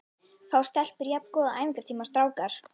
Fá stelpur jafn góða æfingatíma og strákar?